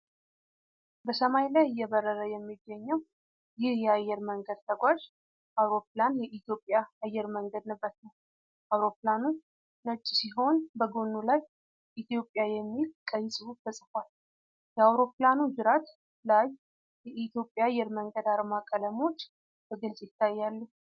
በሰማይ ላይ እየበረረ የሚገኘው ይህ የአየር መንገድ ተጓዥ አውሮፕላን የኢትዮጵያ አየር መንገድን ንብረት ነው። አውሮፕላኑ ነጭ ሲሆን በጎኑ ላይ "ኢትዮጵያ" የሚል ቀይ ጽሑፍ ተጽፏል። የአውሮፕላኑ ጅራት ላይ የኢትዮጵያ አየር መንገድ አርማ ቀለሞች በግልጽ ይታያሉ።